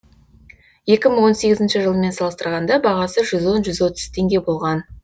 екі мың он сегізінші жылмен салыстырғанда бағасы жүз он жүз отыз теңге болған